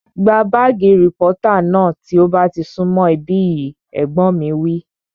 Gba bààgì rìpọ́tà náà tí ó bá ti sún mọ̀ ibí yìí! Ẹ̀gbọ́n mi wí